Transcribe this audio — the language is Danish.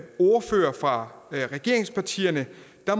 ordførere for regeringspartierne